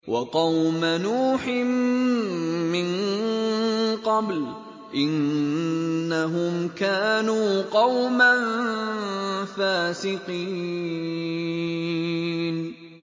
وَقَوْمَ نُوحٍ مِّن قَبْلُ ۖ إِنَّهُمْ كَانُوا قَوْمًا فَاسِقِينَ